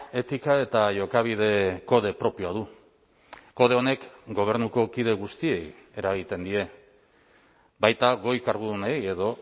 etika eta jokabide kode propioa du kode honek gobernuko kide guztiei eragiten die baita goi kargudunei edo